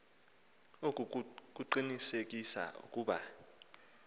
oku kukuqinisekisa ukuba